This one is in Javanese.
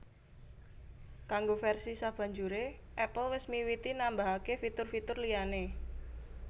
Kanggo versi sabanjure Apple wis miwiti nambahake fitur fitur liyane